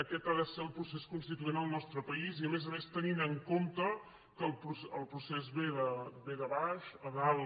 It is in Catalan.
aquest ha de ser el procés constituent en el nostre país i a més a més tenint en compte que el procés ve de baix a dalt